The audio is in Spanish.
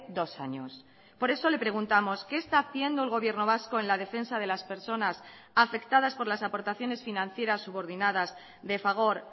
dos años por eso le preguntamos qué está haciendo el gobierno vasco en la defensa de las personas afectadas por las aportaciones financieras subordinadas de fagor